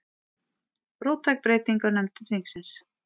Róttæk breyting á nefndum þingsins